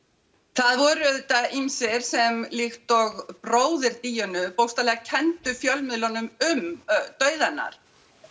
það voru auðvitað ýmsir sem líkt og bróðir Díönu bókstaflega kenndu fjölmiðlunum um dauða hennar